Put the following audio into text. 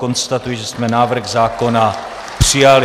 Konstatuji, že jsme návrh zákona přijali.